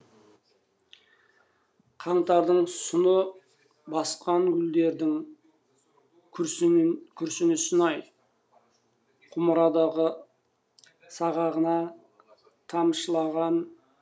қаңтардың сұсы басқангүлдердің күрсінісін ай құмырадағы сағағына тамшылапғұмыр азабы